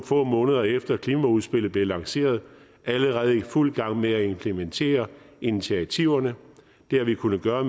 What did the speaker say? få måneder efter klimaudspillet blev lanceret allerede i fuld gang med at implementere initiativerne det har vi kunnet gøre